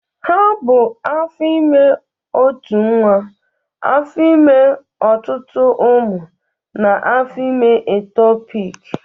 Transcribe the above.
Ha bụ afọ ime ótù nwa, afọ ime ọtụtụ ụmụ na afọ ime ektopiki.